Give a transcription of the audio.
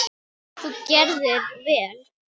Þú gerðir vel!